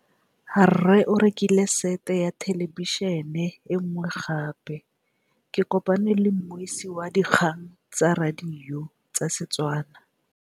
Rre o rekile sete ya thêlêbišênê e nngwe gape. Ke kopane mmuisi w dikgang tsa radio tsa Setswana.